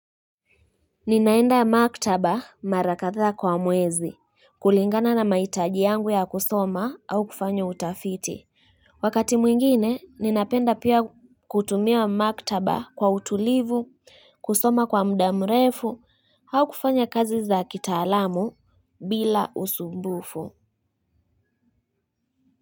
Ninaenda maktaba mara kadhaa kwa mwezi, kulingana na mahitaji yangu ya kusoma au kufanya utafiti. Wakati mwingine, ninapenda pia kutumia maktaba kwa utulivu, kusoma kwa muda murefu, au kufanya kazi za kitaalamu bila usumbufu.